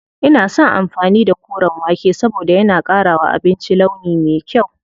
Ina son amfani da koren wake saboda yana ƙara wa abinci launi me kyau.